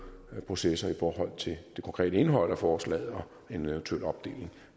proces i forhold til det konkrete indhold af forslaget og en eventuel opdeling